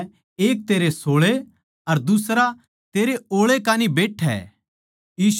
यीशु नै उसतै कह्या थम के चाहो सो के थारै खात्तर करूँ